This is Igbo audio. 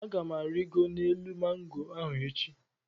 Aga m arịgoro n'osisi mango ahụ echi.